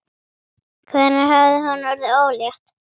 Hvenær hafði hún orðið ólétt?